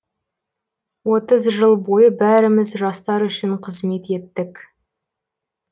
отыз жыл бойы бәріміз жастар үшін қызмет еттік